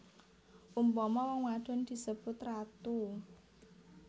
Umpama wong wadon disebut ratu